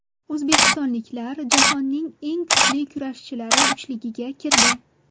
O‘zbekistonliklar jahonning eng kuchli kurashchilari uchligiga kirdi.